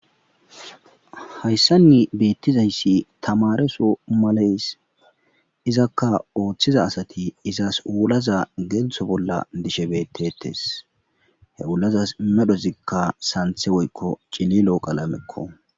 hayssanni beettizayssi tamareso maleys izakka ooththiza asati izas uulaza geeltho bolla dishe bettetes he ulazas medhozikka santhe woykko cililoo qalamekko